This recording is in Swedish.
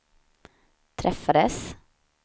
träffades